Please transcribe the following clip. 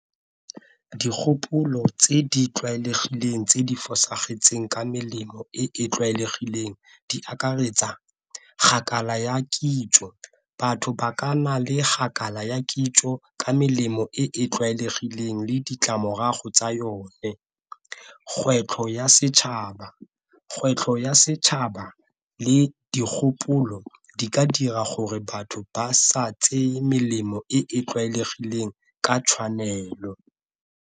Dikgopolo tse di tlwaelegileng tse di fosagetseng ka melemo e e tlwaelegileng di akaretsa ya kitso, batho ba ka nna le ya kitso ka melemo e e tlwaelegileng le ditlamorago tsa yone. Kgwetlho ya setšhaba, kgwetlho ya setšhaba le dikgopolo di ka dira gore batho ba sa tseye melemo e e tlwaelegileng ka tshwanelo.